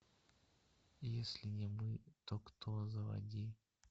если не мы то кто заводи